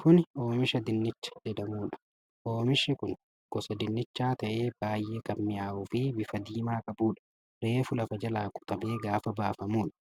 Kuni Oomisha dinnichaa jedhamuudha. Oomishi kun gosaa dinnichaa ta'ee baay'ee kan mi'aawu fi bifa diimaa qabuudha. Reefu lafa jalaa qotamee gaafa bafamuudha.